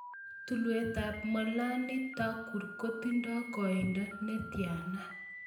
Tulwetap Monali Thakur kotindo koiindo netiana